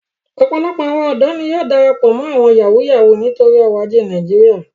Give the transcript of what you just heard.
Opolopo awon odo ni yóò darapo mo awọn ọmọ Yahoo Yahoo nitori oro aje Naijiria.